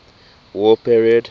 war period